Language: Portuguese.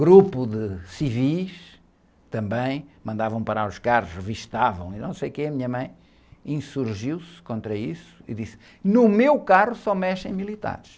grupo de civis também, mandavam parar os carros, revistavam e não sei o quê, a minha mãe insurgiu-se contra isso e disse, no meu carro só mexem militares.